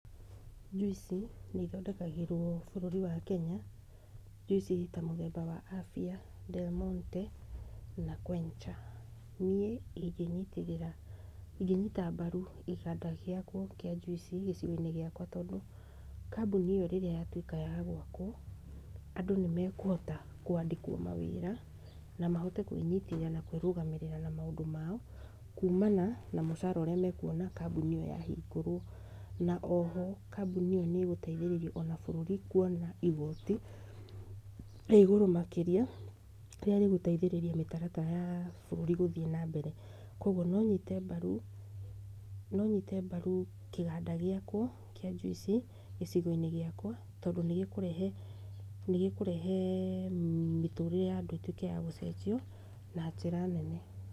Njuici nĩ ithondekagĩrwo bũrũri wa Kenya, njuici ta mũthemba wa Afya, Delmonte na Quencher, niĩ ingĩyitĩrĩra ingĩnyita mbaru gĩbanda gĩakwo kĩa njuici gĩcigo-inĩ gĩakwa tondũ, kambũni ĩyo rĩrĩa yatwĩka ya gwakwo andũ nĩmakũhota kwandĩkwo mawĩra, na mahota kwĩnyitĩrĩra na kwĩrũgamĩrĩra na maũndũ mao, kuumana na mũcara ũrĩa makuona kambũni ĩyo yahingũrwo, na o ho kambũni ĩyo nĩ ĩgũteithĩrĩria ona bũrũri kuona igoti rĩa igũrũ makĩria, rĩrĩa rĩgũteithĩrĩria mĩtaratara ya bũrũri gũthiĩ na mbere , kũgwo nonyite mbaru, no nyite mbaru kĩganda gĩakwo kĩa njuici gĩcigo-inĩ gĩakwa, tondũ nĩgĩkũrehe, nĩgĩkũrehe mĩtũrire ya andũ ĩtwĩke ya gũcenjio na njĩra nene.